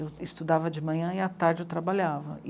Eu estudava de manhã e à tarde eu trabalhava.